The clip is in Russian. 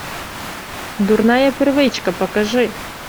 дурная привычка покажи